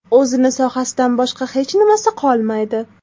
O‘zini sohasidan boshqa hechnimasi qolmaydi.